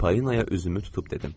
Payinaya üzümü tutub dedim.